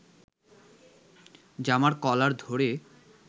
জামার কলার ধরে